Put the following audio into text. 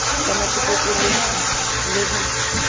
re sa natefetswe ho le